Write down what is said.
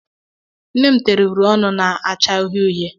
Nne m tere uri ọnụ na-acha uhie uhie.